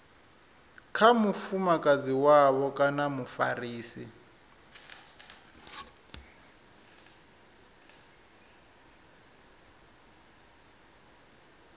kha mufumakadzi wavho kana mufarisi